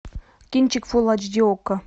кинчик фулл эйч ди окко